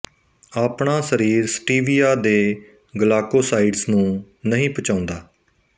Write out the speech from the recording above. ਆਪਣਾ ਸ਼ਰੀਰ ਸਟੀਵਿਆ ਦੇ ਗਲਾਕੋਸਾਈਡਸ ਨੂੰ ਨਹੀਂ ਪਚਾਉਂਦਾ